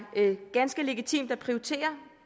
ganske legitimt at prioritere